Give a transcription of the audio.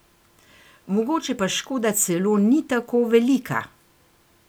Mogoče pa škoda celo ni tako velika.